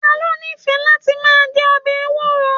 Ta lo n'ifẹ láti máa jẹ ọbẹ ewuro?